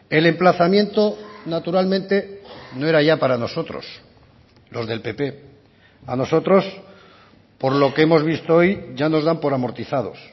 el emplazamiento naturalmente no era ya para nosotros los del pp a nosotros por lo que hemos visto hoy ya nos dan por amortizados